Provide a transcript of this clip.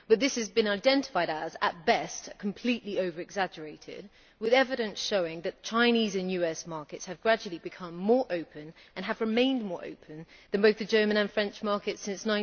But this has been identified as at best completely over exaggerated, with evidence showing that Chinese and US markets have gradually become more open and have remained more open than both the German and French markets since